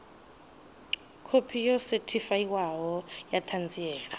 khophi yo sethifaiwaho ya ṱhanziela